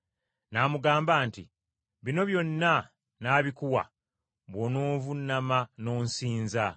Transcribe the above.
n’amugamba nti, “Bino byonna nnaabikuwa bw’onoovuunama n’onsinza.”